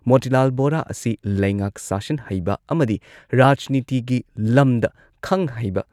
ꯃꯣꯇꯤꯂꯥꯜ ꯕꯣꯔꯥ ꯑꯁꯤ ꯂꯩꯉꯥꯛ ꯁꯥꯁꯟ ꯍꯩꯕ ꯑꯃꯗꯤ ꯔꯥꯖꯅꯤꯇꯤꯒꯤ ꯂꯝꯗ ꯈꯪ ꯍꯩꯕ